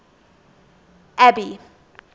abby